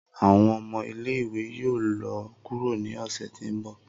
Awọn ọmọ ile-iwe yoo lọ kuro ni ọsẹ ti n bọ.